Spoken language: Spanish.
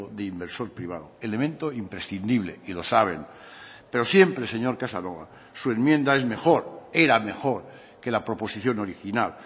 de inversor privado elemento imprescindible y lo saben pero siempre señor casanova su enmienda es mejor era mejor que la proposición original